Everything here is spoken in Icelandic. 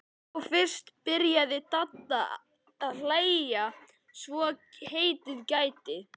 Þá fyrst byrjaði Dadda að hlæja svo heitið gæti.